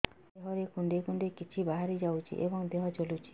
ଦେହରେ କୁଣ୍ଡେଇ କୁଣ୍ଡେଇ କିଛି ବାହାରି ଯାଉଛି ଏବଂ ଦେହ ଜଳୁଛି